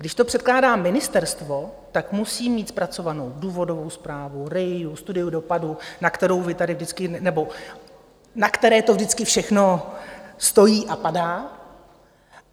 Když to předkládá ministerstvo, tak musí mít zpracovanou důvodovou zprávu, RIA, studii dopadů, na kterou vy tady vždycky, nebo na které to vždycky všechno stojí a padá.